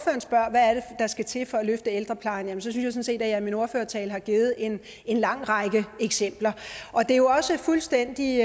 der skal til for at løfte ældreplejen så synes jeg sådan set at jeg i min ordførertale har givet en en lang række eksempler det er jo også fuldstændig